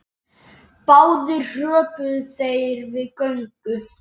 Báðir hröpuðu þeir við göngu.